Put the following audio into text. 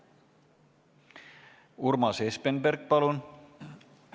Urmas Espenberg, palun!